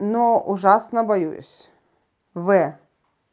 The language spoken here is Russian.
но ужасно боюсь в